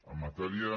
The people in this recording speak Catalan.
en matèria